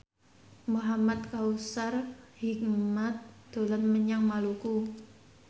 Muhamad Kautsar Hikmat dolan menyang Maluku